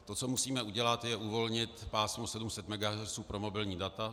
To, co musíme udělat, je uvolnit pásmo 700 MHz pro mobilní data.